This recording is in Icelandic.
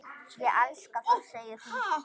Ég elska það, segir hún.